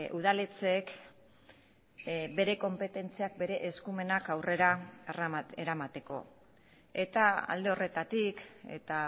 udaletxeek bere konpetentziak bere eskumenak aurrera eramateko eta alde horretatik eta